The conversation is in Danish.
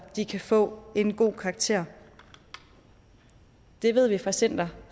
de kan få en god karakter det ved vi fra center